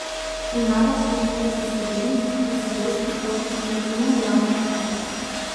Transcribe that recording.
Ima več ljubiteljskih skupin, kot sta pevski zbor in kreativna delavnica Šopek.